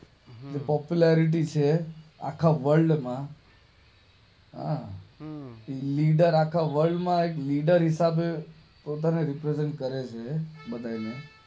popularity છે આખા world માં લીડર આખા વર્લ્ડ માં લીડર હિસાબે પોતાને રેપ્રેઝન્ટ કરે છે બધાંયને